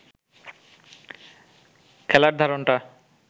খেলার ধরনটা